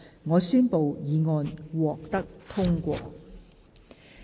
我宣布議案獲得通過。